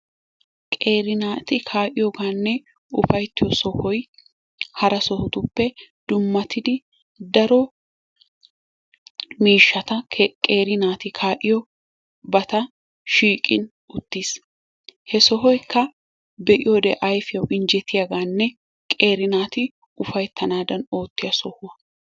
Qeeri naati kaa'iyogaanne ufatiyo sohoy hara sohotuppe dummatidi daro miishshata qeeri naati kaa'iyobata shiiqi uttiis. He sohoykka be'iyodee ayfiyawu injjettiyagaanne qeeri naati ufayttanaadan ootiya sohuwa.